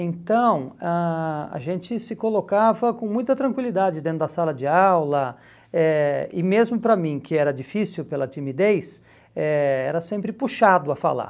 Então, ãh a gente se colocava com muita tranquilidade dentro da sala de aula eh e mesmo para mim, que era difícil pela timidez, eh era sempre puxado a falar.